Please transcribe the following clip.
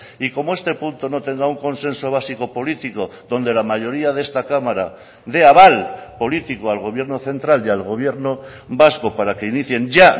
y como este punto no tendrá un consenso básico político donde la mayoría de esta cámara dé aval político al gobierno central y al gobierno vasco para que inicien ya